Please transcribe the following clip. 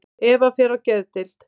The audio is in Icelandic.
Eva fer á geðdeild.